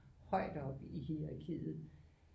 Højt oppe i hierakiet